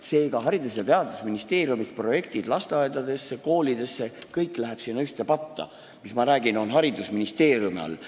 Seega, Haridus- ja Teadusministeeriumis projektid lasteaedade ja koolide jaoks – kõik läheb sinna ühte patta, kõik see, mis ma räägin, on haridusministeeriumi all.